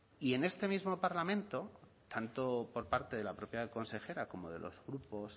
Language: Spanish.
y en este mismo parlamento tanto por parte de la propia consejera como de los grupos